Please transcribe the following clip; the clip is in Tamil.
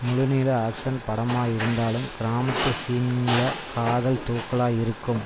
முழுநீள ஆக்ஷன் படமா இருந்தாலும் கிராமத்து சீன்கல காதல் தூக்கலா இருக்கும்